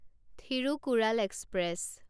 Thirukkural express